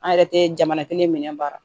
An yɛrɛ tɛ jamana kelen minɛ baara